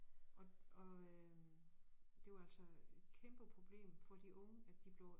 Og og øh det var altså kæmpe problem for de unge at de blev